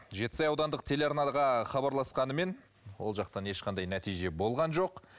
жетісай аудандық телеарнаға хабарласқанымен ол жақтан ешқандай нәтиже болған жоқ